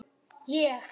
Ég?